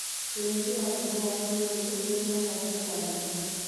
ũrĩithi wa ngũkũ wa kĩiriu nĩurareha baida nene